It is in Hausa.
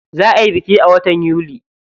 Za ayi biki a watan yuli.